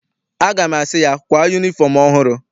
Aga m asị ya, kwaa yunifọm ọhụrụ!